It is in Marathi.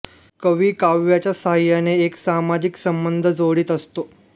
कवी काव्याच्या साह्याने एक सामाजिक संबंध जोडीत असतो